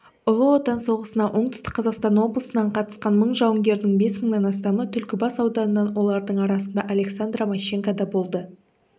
ұлы отан соғысына оңтүстік қазақстан облысынан қатысқан мың жауынгердің бес мыңнан астамы түлкібас ауданынан олардың арасында александра мащенко да болды